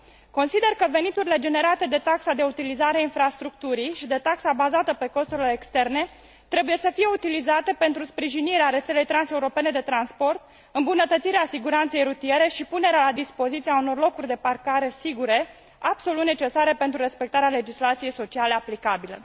Consider că veniturile generate de taxa de utilizare a infrastructurii și de taxa bazată pe costurile externe trebuie să fie utilizate pentru sprijinirea rețelei transeuropene de transport, îmbunătățirea siguranței rutiere și punerea la dispoziție a unor locuri de parcare sigure, absolut necesare pentru respectarea legislației sociale aplicabile.